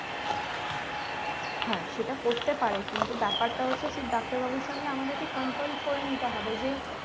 হ্যাঁ সেটা করতে পারে কিন্তু বাপারত হচ্ছে সেই ডাক্তার বাবুর সঙ্গে আমাদেরকে consult করে নিতে হবে যে